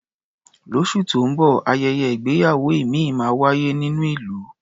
Lóṣù tó ń bọ̀, ayẹyẹ ìgbéyàwó ìmíì máa wáyé nínú ìlú.